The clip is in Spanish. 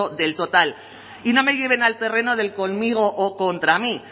del total y no me lleven al terreno del conmigo o contra mí